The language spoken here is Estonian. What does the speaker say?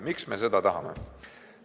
Miks me seda tahame?